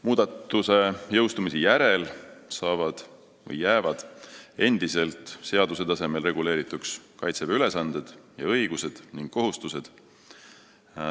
Muudatuse jõustumise järel jäävad endiselt seaduse tasemel reguleerituks Kaitseväe ülesanded, õigused ja kohustused.